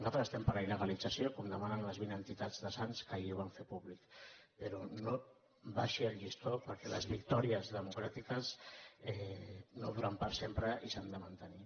nosaltres estem per la iltats de sants que ahir ho van fer públic però no abaixi el llistó perquè les victòries democràtiques no duren per sempre i s’han de mantenir